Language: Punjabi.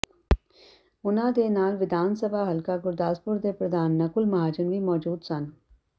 ਉਨ੍ਹਾਂ ਦੇ ਨਾਲ ਵਿਧਾਨ ਸਭਾ ਹਲਕਾ ਗੁਰਦਾਸਪੁਰ ਦੇ ਪ੍ਰਧਾਨ ਨਕੁਲ ਮਹਾਜਨ ਵੀ ਮੌਜੂਦ ਸਨ